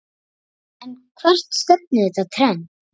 En hvert stefnir þetta trend?